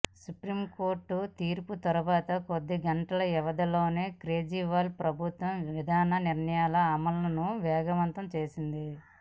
supreme court తీర్పు తరువాత కొద్ది గంటల వ్యవధిలోనే కేజ్రీవాల్ ప్రభుత్వం విధాన నిర్ణయాల అమలును వేగవంతం చేసింది